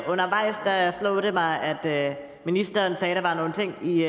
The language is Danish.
undervejs slog det mig at ministeren sagde at der var nogle ting i